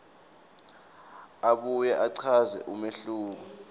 abuye achaze umehluko